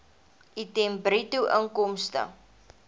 item bruto inkomste